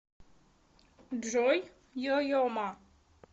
джой йо йо ма